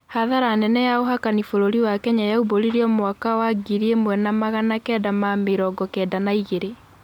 Kathara nene ya uhakani bũrũrĩ wa Kenya yaubũririo mwaka wa mwaka wa ngiri imwe na magana kenda na mĩrongo kenda na igĩrĩ.